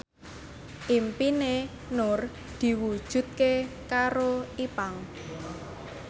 impine Nur diwujudke karo Ipank